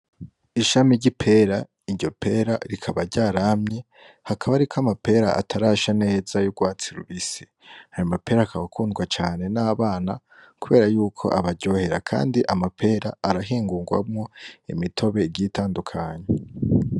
Ishami ry'ipera, iryo pera rikaba ryaramye, hakaba hariko amapera atarasha neza y'urwatsi rubisi. Ayo mapera akaba akundwa cane n'abana kubera yuko abaryohera kandi amapera arahingurwamwo imitobe igiye itandukanye.